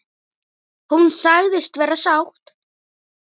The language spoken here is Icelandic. Hún sagðist vera sátt.